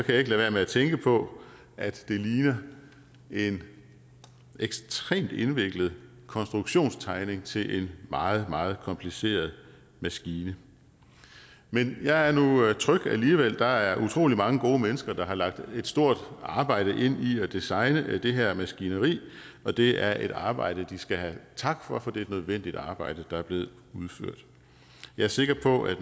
lade være med at tænke på at det ligner en ekstremt indviklet konstruktionstegning til en meget meget kompliceret maskine men jeg er nu tryg alligevel der er utrolig mange gode mennesker der har lagt et stort arbejde ind i at designe det her maskineri og det er et arbejde de skal have tak for for det er et nødvendigt arbejde der er blevet udført jeg er sikker på at